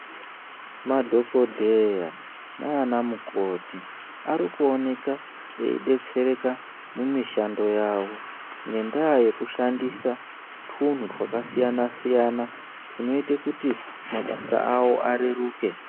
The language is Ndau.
Madhokodheya naanamukoti ari kuoneka eidetsereka mumishando yavo, ngendaa yekushandisa twunhu twakasiyana-siyana, twunoite kuti mabasa avo areruke.